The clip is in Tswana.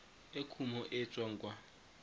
e kumo e tswang kwa